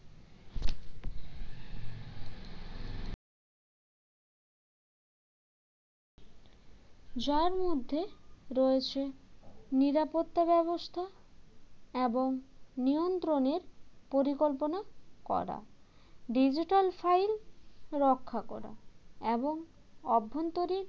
যার মধ্যে রয়েছে নিরাপত্তা ব্যবস্থা এবং নিয়ন্ত্রণের পরিকল্পনা করা digital file রক্ষা করা এবং অভ্যন্তরীণ